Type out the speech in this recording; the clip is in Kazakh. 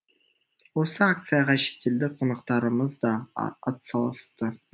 осы акцияға шетелдік қонақтарымыз да атсалысты